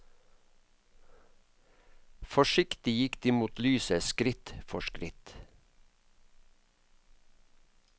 Forsiktig gikk de mot lyset, skritt for skritt.